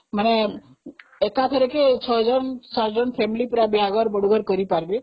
ମାନେ ଏକାଥରେ ୬୭ ଜଣ ବାହାଘର, ବଡ଼ଘର କରିପାରିବେ